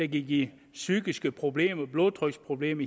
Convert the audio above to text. give psykiske problemer blodtryksproblemer